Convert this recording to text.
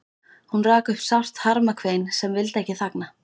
Hún rak upp sárt harmakvein sem vildi ekki þagna.